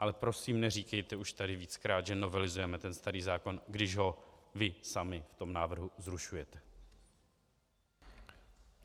Ale prosím, neříkejte už tady víckrát, že novelizujeme ten starý zákon, když ho vy sami v tom návrhu zrušujete!